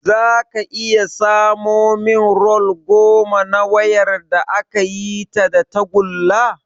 Zaka iya samo min rol goma na wayar da akayi ta da tagulla?